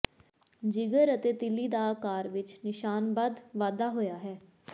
ਜਿਗਰ ਅਤੇ ਤਿੱਲੀ ਦਾ ਆਕਾਰ ਵਿੱਚ ਨਿਸ਼ਾਨਬੱਧ ਵਾਧਾ ਹੋਇਆ ਹੈ